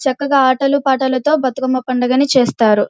చక్కగా ఆటల పాటలతో బతుకమ్మ పండుగను చేస్తారు.